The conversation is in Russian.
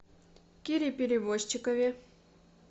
кире перевозчикове